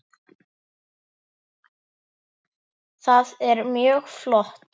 Það er mjög flott.